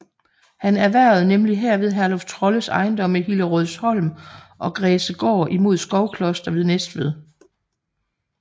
Han erhvervede nemlig herved Herluf Trolles ejendomme Hillerødsholm og Græsegård imod Skovkloster ved Næstved